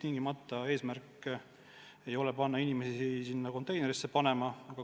Meie eesmärk ei ole sundida inimesi biojäätmeid tingimata konteinerisse panema.